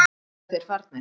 Eru þeir farnir?